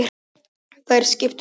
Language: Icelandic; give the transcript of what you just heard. Þær skiptu máli.